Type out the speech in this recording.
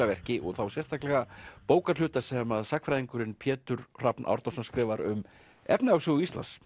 verki og þá sérstaklega bókarhluta sem að sagnfræðingurinn Pétur Hrafn Árnason skrifar um efnahagssögu Íslands